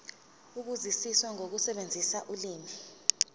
ukuzwisisa nokusebenzisa ulimi